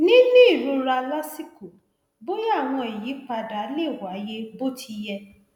níní ìrora lásìkò bóyá àwọn ìyípadà lè wáyé bó ti yẹ